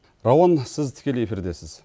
рауан сіз тікелей эфирдесіз